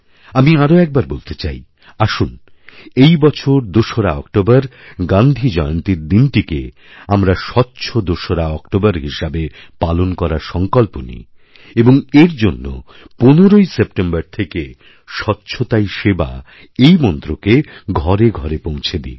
আমি আরও একবারবলতে চাই আসুন এই বছর দোসরা অক্টোবর গান্ধীজয়ন্তীর দিনটিকে আমরা স্বচ্ছ দোসরাঅক্টোবর হিসেবে পালন করার সংকল্প নিই এবং এর জন্য ১৫ই সেপ্টেম্বর থেকেইস্বচ্ছতাই সেবা এই মন্ত্রকে ঘরে ঘরে পৌঁছে দিই